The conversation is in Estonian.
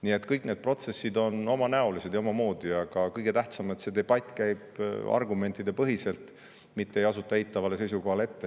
Nii et kõik need protsessid on omanäolised ja omamoodi, aga kõige tähtsam, et see debatt käib argumentidepõhiselt, mitte ei asuta juba ette eitavale seisukohale.